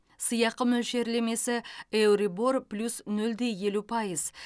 сыйақы мөлшерлемесі еурибор плюс нөл де елу пайыз